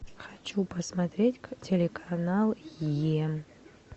хочу посмотреть телеканал е